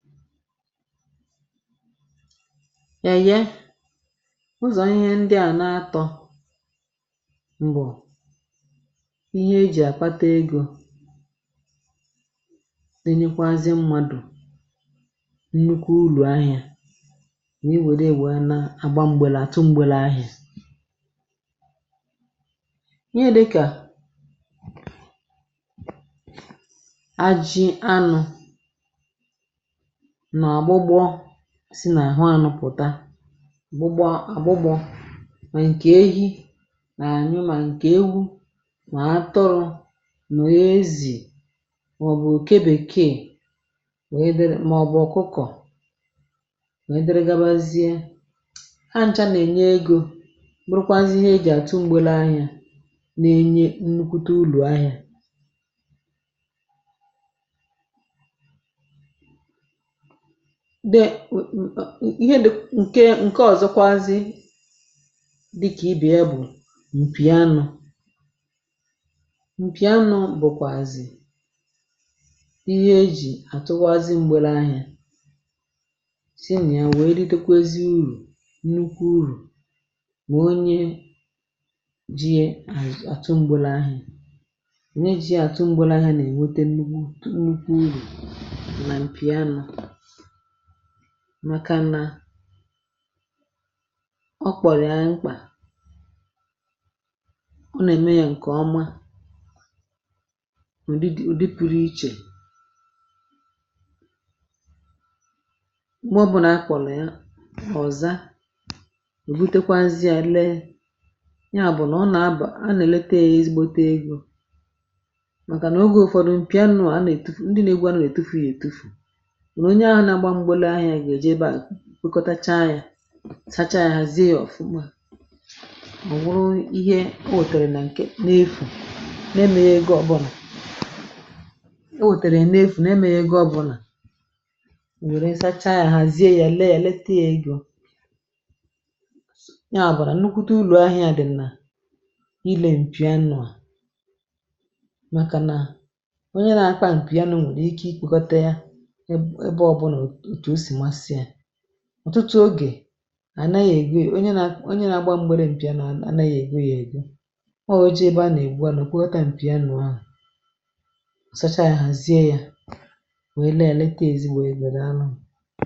Ènyè ụzọ̀, ee, ihe ndị à nà-atọ̇ m̀bụ̀, ihe e jì àkpàtà egȯ, n’ènye-kwa-zị mmadụ̀ nnukwu ụlọ̀ ahịȧ, nà iwère-ewère, ị ma, nnà-agba m̀gbèlà, too m̀gbèlà ahịȧ, ihe dịkà, sị nà, àhụ a, nụpụ̀tà gbụgbọ àgbụgbọ̇, mà ǹkè ehi, nà ànyụ, mà ǹkè ewu, mà atụrụ, nọ̀ ya, ezì, mà ọ̀ bụ̀ kebekee, mà ọ̀ bụ̀ okuko, wèe dịrị, gabazie ha ncha, nà ènyè egȯ, bụrụ-kwa-zị ihe e jì àtụ mgbèlà ahịȧ, na-ènye nnukwute ulù ahịa. Dèè, we we we, ọ dị ǹke ǹke ọ̀zọ, kwa-zị, dịkà ibè, ya bụ̀, m̀pì anọ̇, m̀pì anọ̇, bụ̀-kwa-zị ihe ejì àtụwa mgbụlụ ahịȧ dị nà ya, wèe lítò, kwezi urù, nnukwu urù. Nwa onye je àtụ mgbèlà ahịȧ, ǹke ji àtụ mgbèlà ahịȧ, nà-ènweta nnukwu urù, màkà nà ọ kpọ̀rị̀ anya mkpà, ọ nà-ème ya ǹkè ọma. Ụ̀dị dị̀, ụ̀dị pụrụ iche, ụ̀mụ̀ ọ̀bụ̀là, a kpọ̀rọ̀ ya ọ̀za ò, bute-kwa-zị, à lee, ya bụ̀ nà ọ nà-abà, a nà-èlete ya, ezigbote egȯ, màkà nà oge, ụ̀fọdụ m̀pì anụ̇ à, a nà-ètufù, ndị nà-egwu, àna-ètufù ya, ètufù. Ǹkọ̀-tacha yȧ, sacha yȧ, hàzie yȧ ọ̀fụma, mà wụrụ ihe o wètèrè, nà ǹke n’efù, n’èmē ya ego. Ọ̀bụlà o wètèrè n’efù, n’èmē ya ego. Ọ̀bụ̀nà nwèrè, sacha yȧ, hàzie yȧ, lee yȧ, lete yȧ, egȯ ya àbàrà nnukwute ụlọ̀ ahịȧ, dị̀ nà ilė m̀pì anụ̇ à, màkà nà onye nȧ akwà m̀pì anụ̇, nwèrè ike, ikwȯkȧtȧ yȧ, ọ̀tụtụ ogè, à neè ya ègo. Onye na onye na-agba mgbèlà m̀pìa, nà a neè ya ègo, ya ègo, ọ nà, o ojii, ebe a nà ègbu, a nà, ọ kwọta, m̀pì anụ̇ ahụ̀, sacha ahụ̀, hazie ya, nwèe, lee ya, leta, èzi, gbara, ègbo ya nụ.